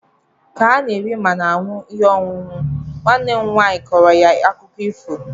ka ha na-eri ma na-aṅụ ihe ọṅụṅụ, nwanne m nwaanyị kọrọ ha akụkọ ịfo